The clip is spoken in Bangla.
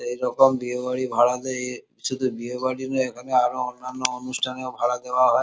এরকম বিয়েবাড়ি ভাড়া দেয় এ শুধু বিয়েবাড়ি নই এখানে আরো অন্যান্য অনুষ্ঠানেও ভাড়া দেওয়া হয়।